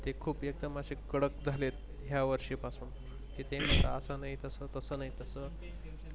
जे खुप एकदम असे कडक झालेत या वर्षी पासून की ते म्हणता अस नाही तस तस नाही तस.